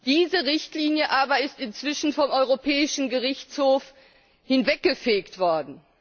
Diese Richtlinie aber ist inzwischen vom Europäischen Gerichtshof hinweggefegt worden.